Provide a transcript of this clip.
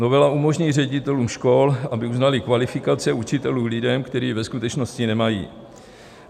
Novela umožní ředitelům škol, aby uznali kvalifikace učitelů lidem, kteří ji ve skutečnosti nemají.